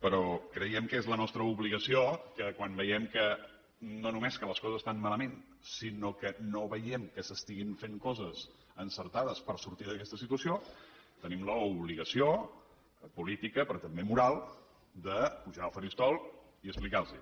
però creiem que és la nostra obligació que quan veiem no només que les coses estan malament sinó que no veiem que s’estiguin fent coses encertades per sortir d’aquesta situació tenim l’obligació política però també moral de pujar al faristol i explicar los ho